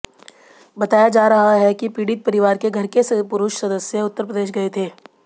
बताया जा रहा है कि पीडित परिवार के घर के पुरूष सदस्य उत्तरप्रदेश गए थे